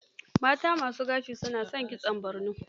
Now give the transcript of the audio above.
Mata ma su gashi na son kitson bargo.